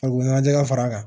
Farikolo ɲɛnajɛ ka far'a kan